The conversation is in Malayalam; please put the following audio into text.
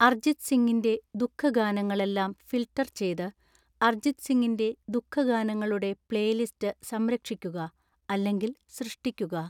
അർജിത് സിങ്ങിന്റെ ദുഃഖ ഗാനങ്ങളെല്ലാം ഫിൽട്ടർ ചെയ്‌ത് അർജിത് സിങ്ങിന്റെ ദുഃഖ ഗാനങ്ങളുടെ പ്ലേലിസ്റ്റ് സംരക്ഷിക്കുക അല്ലെങ്കിൽ സൃഷ്‌ടിക്കുക